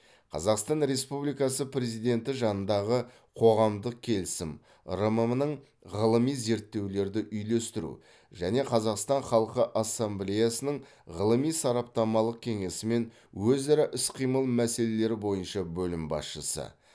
қазақстан республикасы президенті жанындағы қоғамдық келісім рмм нің ғылыми зерттеулерді үйлестіру және қазақстан халқы ассамблеясының ғылыми сараптамалық кеңесімен өзара іс қимыл мәселелері бойынша бөлім басшысы